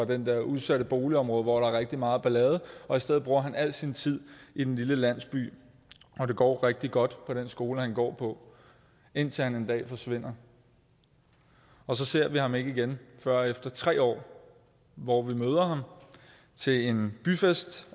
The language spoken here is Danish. det der udsatte boligområde hvor der er rigtig meget ballade og i stedet bruger han al sin tid i den lille landsby og det går rigtig godt på den skole han går på indtil han en dag forsvinder så ser vi ham ikke igen før efter tre år hvor vi møder ham til en byfest